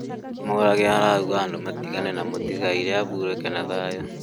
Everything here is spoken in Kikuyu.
Murage araũga andũ matĩgane na mũtĩgaĩrĩ ahũrũke na thayũ